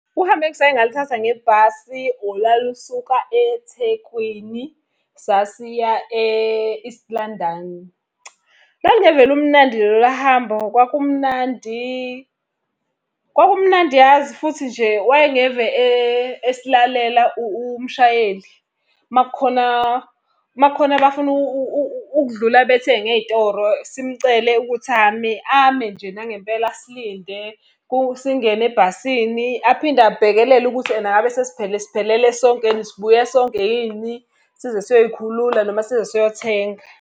Uhambo engisake ngaluthatha ngebhasi olwalusuka eThekwini, sasiya e-East London. Lalungeve lumnandi lola hambo kwakumnandi, kwakumnandi yazi futhi nje wayengeve esilalela umshayeli. Uma kukhona uma kukhona abafuna ukudlula bathenge ey'toro simcele ukuthi ame, ame nje nangempela asilinde singene ebhasini. Aphinde abhekelele ukuthi ena ngabe siphelele sonke, sibuye sonke yini. Size siyoyikhulula noma size siyothenga.